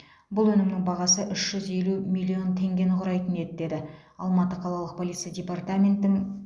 бұл өнімнің бағасы үш жүз елу миллион теңгені құрайтын еді деді алматы қалалық полиция департаментін